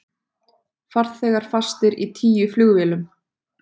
Farþegar fastir í tíu flugvélum